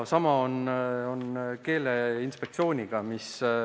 Sama on Keeleinspektsiooniga.